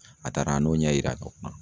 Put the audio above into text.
A taara an n'o ɲɛ yira